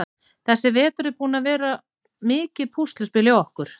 Þessi vetur er búinn að vera mikið púsluspil hjá okkur.